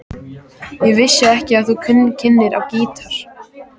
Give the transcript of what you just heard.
Ég vissi ekki að þú kynnir á gítar.